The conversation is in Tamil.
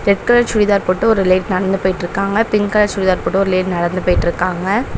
ரெட் கலர் சுடிதார் போட்டு ஒரு லேடி நடந்து போயிட்டிருக்காங்க பிங்க் கலர் சுடிதார் போட்டு ஒரு லேடி நடந்து போயிட்டிருக்காங்க.